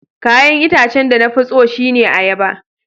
Kayan itacen de na fi tso shine ayaba.